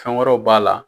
Fɛn wɛrɛw b'a la